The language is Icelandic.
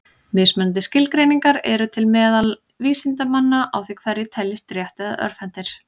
Mismunandi skilgreiningar eru til meðal vísindamanna á því hverjir teljist rétt- eða örvhentir.